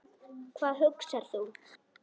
Hvað hugsar þú?